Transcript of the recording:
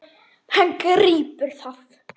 Hann grípur það.